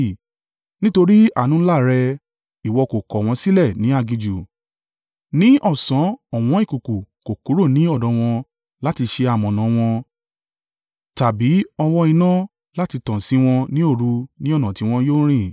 “Nítorí àánú ńlá rẹ, ìwọ kò kọ̀ wọ́n sílẹ̀ ní aginjù. Ní ọ̀sán ọ̀wọn ìkùùkuu kò kúrò ní ọ̀dọ̀ wọn láti ṣe amọ̀nà an wọn, tàbí ọ̀wọ́n iná láti tàn sí wọn ní òru ní ọ̀nà tí wọn yóò rìn.